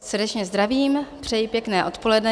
Srdečně zdravím, přeji pěkné odpoledne.